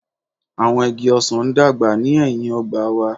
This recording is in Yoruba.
Awọn igi ọsan n dagba ni ẹhin ogba wa